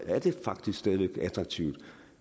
er det faktisk stadig væk attraktivt